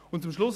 Zum Schluss: